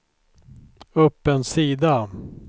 upp en sida